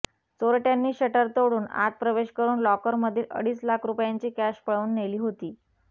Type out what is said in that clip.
चोरट्यांनी शटर तोडून आत प्रवेश करुन लॉकरमधील अडीच लाख रुपयांची कॅश पळवून नेली होती